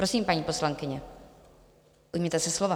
Prosím, paní poslankyně, ujměte se slova.